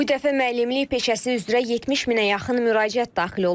Bu dəfə müəllimlik peşəsi üzrə 70 minə yaxın müraciət daxil olub.